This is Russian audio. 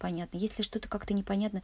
понятно если что-то как-то не понятно